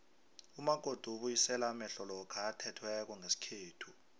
umakoti ubuyisela amehlo lokha athethweko ngesikhethu